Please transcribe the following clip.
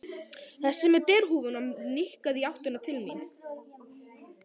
Þessi með derhúfuna nikkaði í áttina til mín.